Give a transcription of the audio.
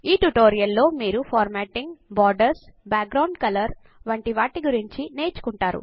ఈ ట్యుటోరియల్లో మీరు formatting borders background colours వంటి వాటి గురించి నేర్చుకుంటారు